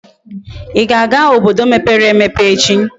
Íga aga obodo mepere emepe echi?